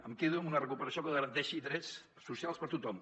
em quedo amb una recuperació que garanteixi drets socials per a tothom